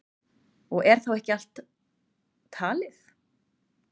Og er þá ekki allt talið.